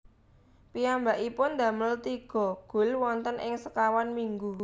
Piyambakipun damel tiga gol wonten ing sekawan minggu